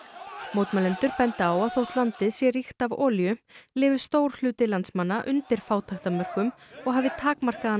mótmælendur benda á að þótt landið sé ríkt af olíu lifi stór hluti landsmanna undir fátæktarmörkum og hafi takmarkaðan